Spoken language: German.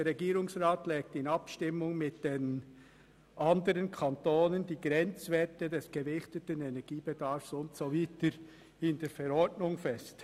«Der Regierungsrat legt in Abstimmung mit den anderen Kantonen die Grenzwerte des gewichteten Energiebedarfs für Heizung, Warmwasser, Lüftung und Klimatisierung durch Verordnung fest.